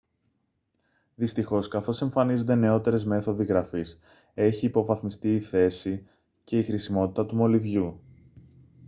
δυστυχώς καθώς εμφανίζονται νεώτερες μέθοδοι γραφής έχει υποβαθμιστεί η θέση και η χρησιμότητα του μολυβιού